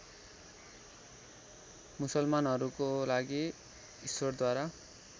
मुसलमानहरूको लागि ईश्वरद्वारा